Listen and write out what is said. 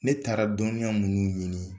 Ne taara dɔnya munni ɲini